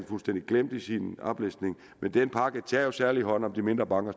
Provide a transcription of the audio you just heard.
fuldstændig glemt i sin oplæsning men den pakke tager jo særligt hånd om de mindre banker